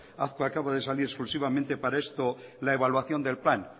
azkue acaba de salir exclusivamente para esto la evaluación del plan